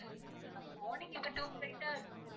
morning இப்போ two flight அஹ்